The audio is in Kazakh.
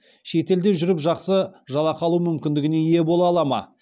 шет елде жүріп жақсы жалақы алу мүмкіндігіне ие бола алады ма